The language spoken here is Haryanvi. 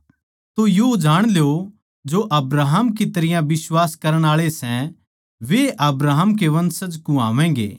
तो यो जाण ल्यो के जो अब्राहम की तरियां बिश्वास करण आळे सै वे ए अब्राहम के वंशज कुह्वावैगें